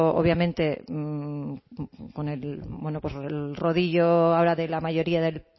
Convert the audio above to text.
obviamente con el rodillo ahora de la mayoría del